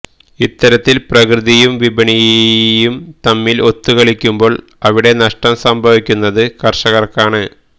ഇത്തരത്തില് പ്രകൃതിയും വിപണിയും തമ്മില് ഒത്തുകളിക്കുമ്പോള് അവിടെ നഷ്ടം സംഭവിക്കുന്നത് കര്ഷകര്ക്കാണ്